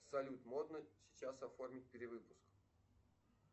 салют модно сейчас оформить перевыпуск